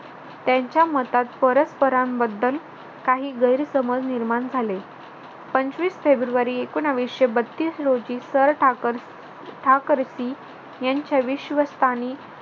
त्यांच्या मतात परस्परांबद्दल काही गैरसमज निर्माण झाले. पंचवीस फेब्रुवारी एकोणविशे बत्तीस रोजी सर ठाकर ठाकरसी यांच्या विश्वस्थाने